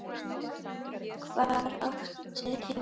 Hvar áttu heima?